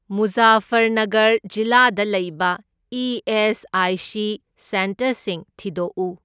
ꯃꯨꯖꯥꯐꯔꯅꯥꯒꯔ ꯖꯤꯂꯥꯗ ꯂꯩꯕ E S I C ꯁꯦꯟꯇꯔꯁꯤꯡ ꯊꯤꯗꯣꯛꯎ꯫